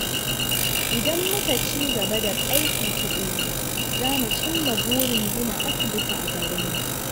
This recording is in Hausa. Idan muka ci gaba da aiki tukuru, za mu cimma burin gina asibiti a garinmu.